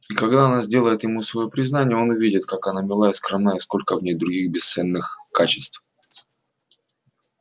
и когда она сделает ему своё признание он увидит как она мила и скромна и сколько в ней других бесценных качеств